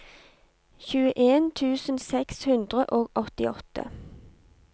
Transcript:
tjueen tusen seks hundre og åttiåtte